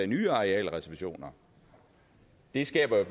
nye arealreservationer det skaber